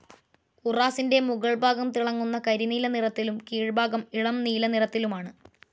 ഉറാസിൻ്റെ മുഗൾ ഭാഗം തിളങ്ങുന്ന കരിനീല നിറത്തിലും കീഴ്ഭാഗം ഇളം നീല നിറത്തിലുമാണ്.